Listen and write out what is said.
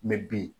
bi